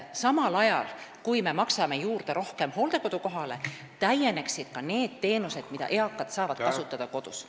Samal ajal, kui me maksame rohkem juurde hooldekodu kohale, peaksid täienema ka need teenused, mida eakad saavad kasutada kodus.